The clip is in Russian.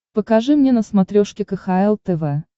покажи мне на смотрешке кхл тв